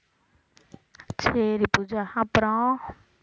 சரி பூஜா அப்புறம்